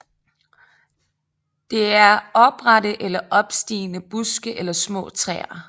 Det er oprette eller opstigende buske eller små træer